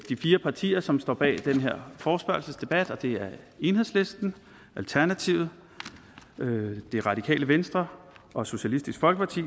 de fire partier som står bag den her forespørgselsdebat og det er enhedslisten alternativet det radikale venstre og socialistisk folkeparti